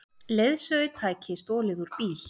Leiðsögutæki stolið úr bíl